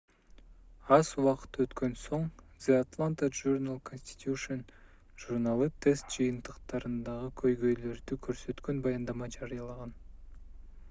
аз убакыт өткөн соң the atlanta journal-constitution журналы тест жыйынтыктарындагы көйгөйлөрдү көрсөткөн баяндама жарыялаган